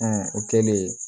o kɛlen